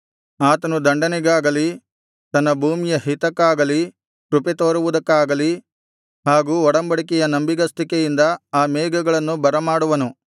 ಆತನು ದಂಡನೆಗಾಗಲಿ ತನ್ನ ಭೂಮಿಯ ಹಿತಕ್ಕಾಗಲಿ ಕೃಪೆತೋರುವುದಕ್ಕಾಗಲಿ ಹಾಗೂ ಒಡಂಬಡಿಕೆಯ ನಂಬಿಗಸ್ತಿಕೆಯಿಂದ ಆ ಮೇಘಗಳನ್ನು ಬರಮಾಡುವನು